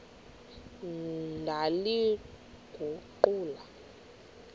ndaliguqula